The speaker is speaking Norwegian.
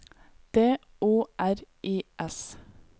D O R I S